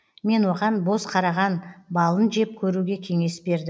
мен оған боз қараған балын жеп көруге кеңес бердім